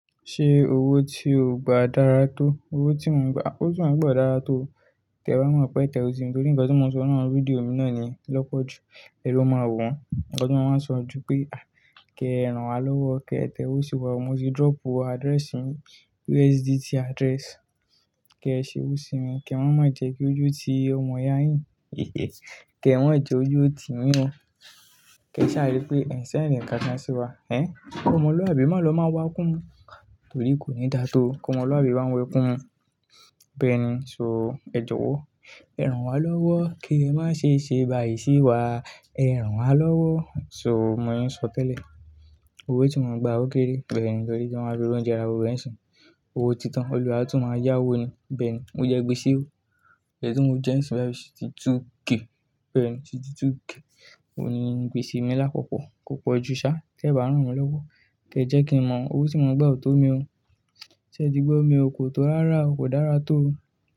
Ṣé owó tí o gba dára tó? Owó tí mò ń gba, owó tí mò ń gba ó dára tó. Tẹ̀ wá mọ̀ pé tẹ̀ o sin, torí nǹkan tí mò ń sọ náà, rédíò mi náà ni lọ́pọ̀ jù èlo máa wo wọ̀n. Ǹkan tí wọ́n máa ń sọ jù pé, "Àì, kẹ ẹ ran wa lọ́wọ́, kẹ ẹ tẹ̀ owó sí wa, mo ti drop address mi, USDT address, kẹ ẹ ṣe owó sí mi, kẹ wọ́n má jẹ́ kí ojú ti ọmọ yà á yìn. Kẹ mọ́n má kí ojú ti yín o. Kẹ sá rí pé ẹ̀ n ṣẹ́nd nǹkan kan sí wa. Ẹ̀n? K'Ọmọlúàbí máa lọ máa wá ekún mu, torí kò ní dà tó. T'Ọmọlúàbí máa ń wẹkùn mu. Bẹ́ẹ̀ ni, so, ẹ jọ̀wọ́ ẹ rán wa lọ́wọ́, kí ẹ má ṣe ṣe bà yìí sí wa. Ẹ rán wa lọ́wọ́." So, bí mo ṣe ń sọ tẹ́lẹ̀. Owó tí mò ń gba ó kéré, bẹ́ẹ̀ ni, torí tí wọ́n bá fi oúnjẹ ara wa wẹ̀ ń sìn ín. Owó titan, Olúwa a tún máa yá owó ni. Bẹ́ẹ̀ ni, mo jẹ gbèsè o. Ẹ̀ṣíń tí mò ń jẹ ẹ̀ṣíń bà bìí sisti tú ke. Bẹ́ẹ̀ ni, ti túge. Ó ní gbèsè mi lápapọ̀, kò pọ̀ jù ṣáá. Tẹ bá rán wa lọ́wọ́, jẹ jẹ́ kí n mọ owó tí mò ń gba o tó mi o. Ṣé ẹ ti gbọ́ mi? O kò tó rárá o, kò dára tó.